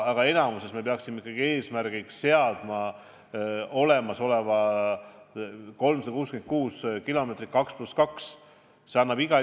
Aga enamikus peaksime ikkagi eesmärgiks seadma ehitada need olemasolevad 366 kilomeetrit välja 2 + 2 maanteena.